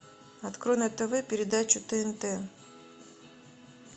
открой на тв передачу тнт